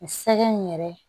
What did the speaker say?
Sɛgɛn yɛrɛ